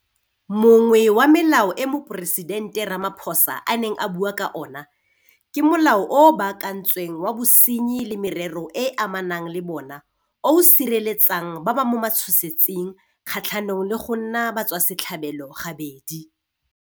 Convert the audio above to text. Mongwe wa melao e Moporesidente Ramaphosa a neng a bua ka ona ke Molao o o Baakantsweng wa Bosenyi le Merero e e Amanang le bona o o sireletsang ba ba mo matshosetsing kgatlhanong le go nna batswasetlhabelo gabedi.